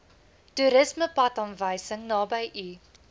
toerismepadaanwysing naby u